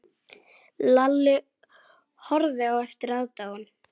Lalli horfði á með aðdáun.